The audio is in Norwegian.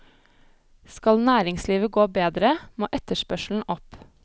Skal næringslivet gå bedre, må etterspørselen opp.